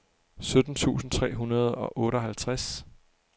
sytten tusind tre hundrede og otteoghalvtreds